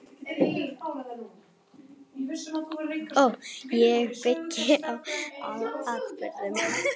Ég byggi á atburðum.